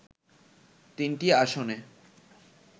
তিনটি আসনে